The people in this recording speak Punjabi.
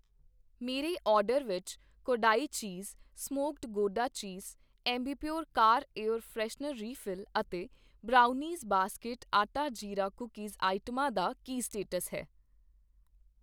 ਮੇਰੇ ਆਰਡਰ ਵਿੱਚ Kodai cheese smoked gouda cheese , Ambipur car air freshener refill ਅਤੇ brownies basket atta jeera cookies ਆਈਟਮਾਂ ਦਾ ਕੀ ਸਟੇਟਸ ਹੈ?